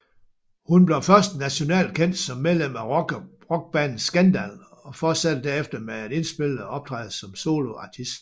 Hun blev først nationalt kendt som medlem af rockbandet Scandal og fortsatte derefter med at indspille og optræde som soloartist